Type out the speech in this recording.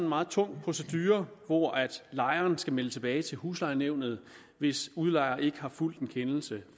meget tung procedure hvor lejeren skal melde tilbage til huslejenævnet hvis udlejer ikke har fulgt en kendelse